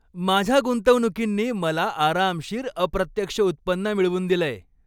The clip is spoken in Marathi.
माझ्या गुंतवणुकींनी मला आरामशीर अप्रत्यक्ष उत्पन्न मिळवून दिलंय.